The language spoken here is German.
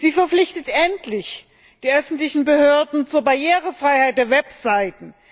Sie verpflichtet endlich die öffentlichen Behörden zur Barrierefreiheit der Webseiten.